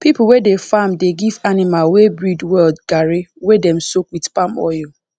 people wey dey farm dey give animal wey breed well garri wey dem soak wit palm oil